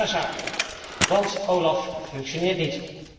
Een prima zaak, want OLAF functioneert niet.